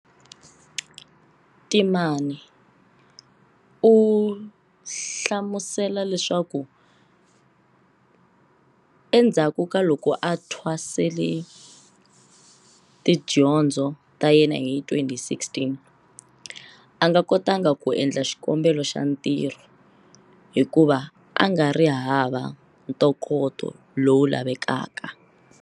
Temane u hlamusela leswaku endzhaku ka loko a thwasele tidyondzo ta yena hi 2016, a nga kotanga ku endla xikombelo xa ntirho hikuva a nga ri hava ntokoto lowu lavekaka.